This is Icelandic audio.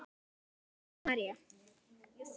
Setta María.